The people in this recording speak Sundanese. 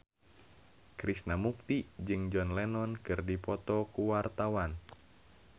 Krishna Mukti jeung John Lennon keur dipoto ku wartawan